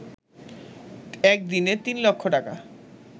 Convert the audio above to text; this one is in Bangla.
একদিনে তিন লক্ষ টাকা